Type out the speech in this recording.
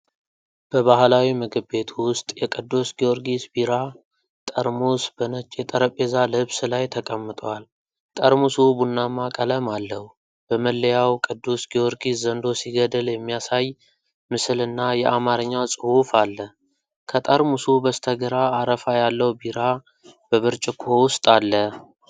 በባህላዊ ምግብ ቤት ውስጥ የቅዱስ ጊዮርጊስ ቢራ ጠርሙስ በነጭ የጠረጴዛ ልብስ ላይ ተቀምጧል። ጠርሙሱ ቡናማ ቀለም አለው። በመለያው ቅዱስ ጊዮርጊስ ዘንዶ ሲገድል የሚያሳይ ምስልና የአማርኛ ጽሑፍ አለ። ከጠርሙሱ በስተግራ አረፋ ያለው ቢራ በብርጭቆ ውስጥ አለ።